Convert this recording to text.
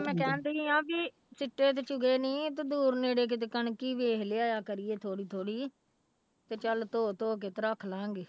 ਮੈਂ ਕਹਿੰਦੀ ਹਾਂ ਵੀ ਸਿੱਟੇ ਤੇ ਚੁੱਗੇ ਨੀ ਤੇ ਦੂਰ ਨੇੜੇ ਕਿਤੇ ਕਣਕ ਹੀ ਵੇਖ ਲਿਆਇਆ ਕਰੀ ਥੋੜ੍ਹੀ ਥੋੜ੍ਹੀ ਤੇ ਚੱਲ ਧੋ ਧੋ ਕੇ ਤੇ ਰੱਖ ਲਵਾਂਗੇ।